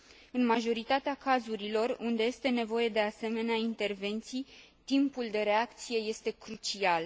În majoritatea cazurilor unde este nevoie de asemenea intervenții, timpul de reacție este crucial.